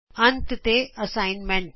ਅੰਤ ਤੇ ਅਸਾਈਨਮੈਂਟ